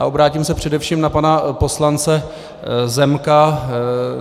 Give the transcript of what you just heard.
A obrátím se především na pana poslance Zemka.